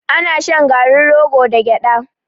Ana shan garin rogo da gyaɗa.